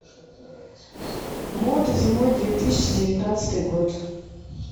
мода зимой две тысячи девятнадцатый год